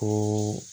Ko